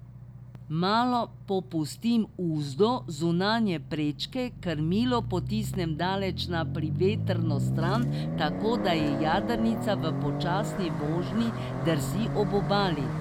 Malo popustim uzdo zunanje prečke, krmilo potisnem daleč na privetrno stran, tako da jadrnica v počasni vožnji drsi ob obali.